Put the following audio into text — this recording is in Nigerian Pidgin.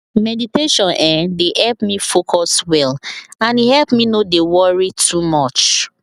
meditation[um]dey help me focus well and e help me no dey worry too much